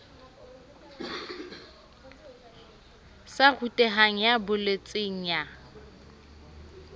sa rutehang ya bolotseng ya